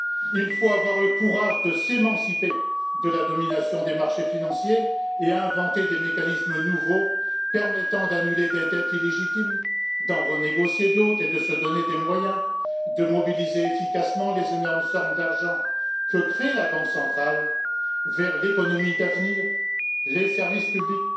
il faut avoir le courage de s'émanciper de la domination des marchés financiers et inventer des mécanismes nouveaux permettant d'annuler des dettes illégitimes, d'en renégocier d'autres et de se donner des moyens de mobiliser efficacement les énormes sommes d'argent que crée la Banque centrale en faveur de l'économie d'avenir les services publics,